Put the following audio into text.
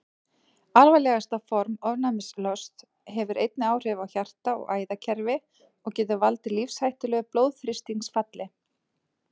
Alvarlegasta form ofnæmislosts hefur einnig áhrif á hjarta- og æðakerfi og getur valdið lífshættulegu blóðþrýstingsfalli.